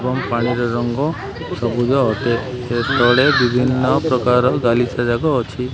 ଏବଂ ପାଣିର ରଙ୍ଗ ସବୁଜ ଅଟେ ୟେ ତଳେ ବିଭିନ୍ନ ପ୍ରକାର ଗାଲିଶା ଯାକ ଅଛି।